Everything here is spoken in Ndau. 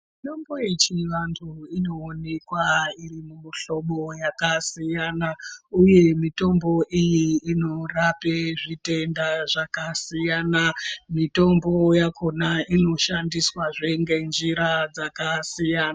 Mitombo yechiyungu inoonekwa iri mumihlobo yakasiyana, uye mitombo iyi inorape zvitenda zvakasiyana. Mitombo yakhona inoshandiswazve ngenjira dzakasiyana.